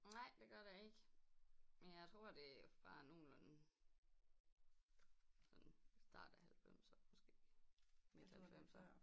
Nej det gør der ikke men jeg tror det er fra nogenlunde sådan start af halvfemser måske midt halvfemser